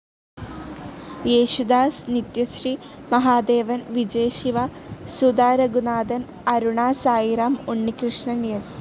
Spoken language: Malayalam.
യേശുദാസ്, നിത്യശ്രീ മഹാദേവൻ, വിജയ് ശിവ, സുധാ രഘുനാഥൻ, അരുണ സായിറാം, ഉണ്ണികൃഷ്ണൻ, എസ്.